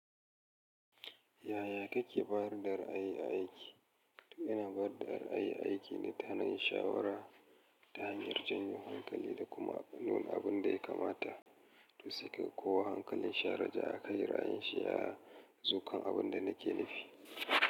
Yaya kake barin dari aiki? Ina barin dari aiki ne ta hanyar shawara, ta hanyar janyo hankali da kuma nunin abin da ya kamata, to sai ka kowa hankalin sha, raja a kai ra'ayin shi ya zo kan abin da nake nufi.